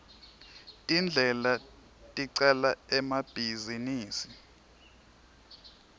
tindlela tecala emabhizinisi